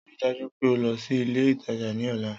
Rii daju pe o lọ si ile itaja ni ọla!